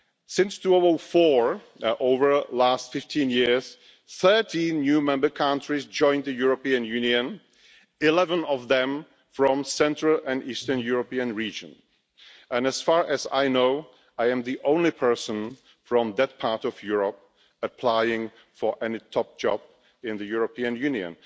Since 2004, over the last 15 years, 13 new member countries have joined the European Union, 11 of them from the central and eastern European region and, as far as I know, I am the only person from that part of Europe applying for any top job in the European Union.